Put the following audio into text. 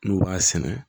N'u b'a sɛnɛ